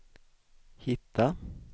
hitta